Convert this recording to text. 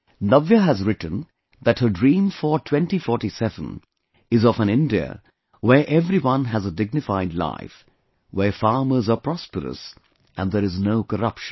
Navya has written that her dream for 2047 is of an India where everyone has a dignified life, where farmers are prosperous and there is no corruption